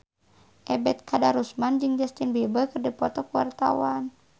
Ebet Kadarusman jeung Justin Beiber keur dipoto ku wartawan